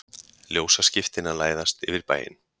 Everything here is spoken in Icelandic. Ljósaskiptin að læðast yfir bæinn.